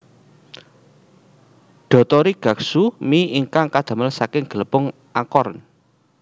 Dotori guksu mi ingkang kadamel saking glepung acorn